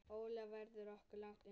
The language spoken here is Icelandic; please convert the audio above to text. Ólafur verður ekki langt undan.